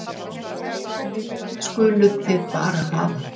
Það skuluð þið bara hafa.